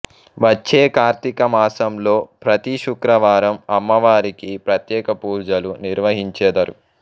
వచ్చే కార్తీక మాసంలో ప్రతి శుక్రవారం అమ్మవారికి ప్రత్యేకపూజలు నిర్వహించెదరు